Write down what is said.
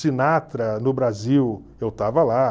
Sinatra, no Brasil, eu estava lá.